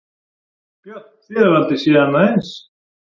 Björn: Þið hafið aldrei séð annað eins?